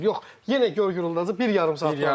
Yox, yenə göy gurultusu bir yarım saat davam edir.